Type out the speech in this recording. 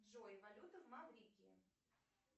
джой валюта в маврикии